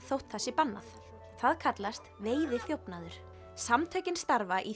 þótt það sé bannað það kallast veiðiþjófnaður samtökin starfa í